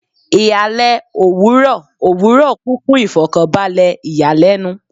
Ihalẹ owurọ owurọ kun fun ifokanbalẹ iyalẹnu